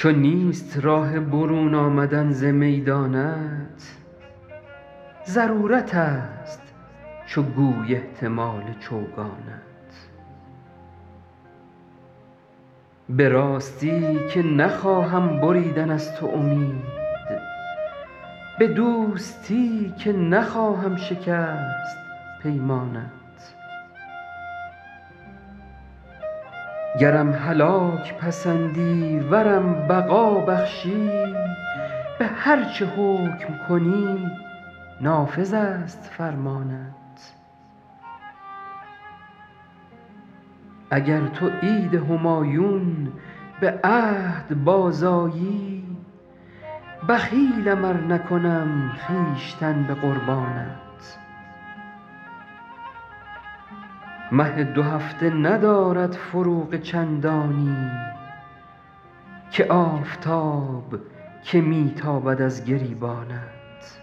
چو نیست راه برون آمدن ز میدانت ضرورتست چو گوی احتمال چوگانت به راستی که نخواهم بریدن از تو امید به دوستی که نخواهم شکست پیمانت گرم هلاک پسندی ورم بقا بخشی به هر چه حکم کنی نافذست فرمانت اگر تو عید همایون به عهد بازآیی بخیلم ار نکنم خویشتن به قربانت مه دوهفته ندارد فروغ چندانی که آفتاب که می تابد از گریبانت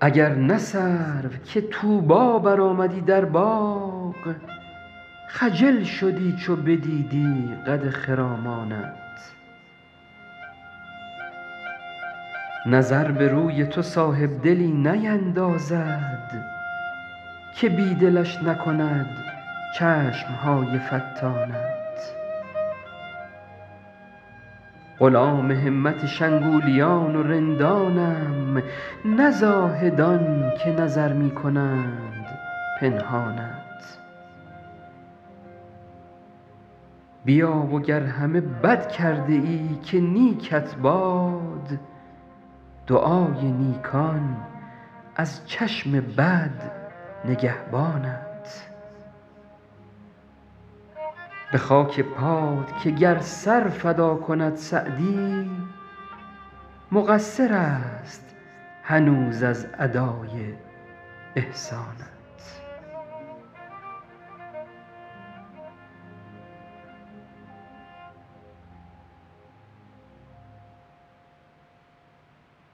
اگر نه سرو که طوبی برآمدی در باغ خجل شدی چو بدیدی قد خرامانت نظر به روی تو صاحبدلی نیندازد که بی دلش نکند چشم های فتانت غلام همت شنگولیان و رندانم نه زاهدان که نظر می کنند پنهانت بیا و گر همه بد کرده ای که نیکت باد دعای نیکان از چشم بد نگهبانت به خاک پات که گر سر فدا کند سعدی مقصرست هنوز از ادای احسانت